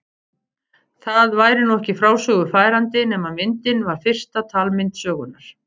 Það væri nú ekki frásögu færandi nema myndin var fyrsta talmynd sögunnar.